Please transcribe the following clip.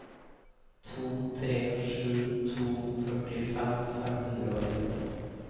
to tre sju to førtifem fem hundre og elleve